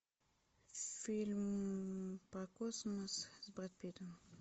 фильм про космос с брэд питтом